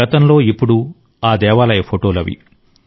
గతంలో ఇప్పుడు ఆ దేవాలయ ఫోటోలు అవి